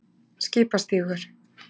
Skipastígur